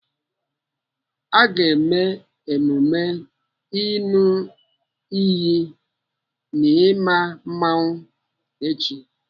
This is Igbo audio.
Aga eme emume ịṅụ iyi n'ima mmanwụ echi.